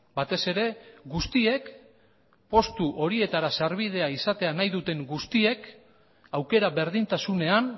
batez ere guztiek postu horietara sarbidea izatea nahi duten guztiek aukera berdintasunean